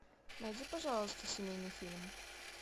найди пожалуйста семейный фильм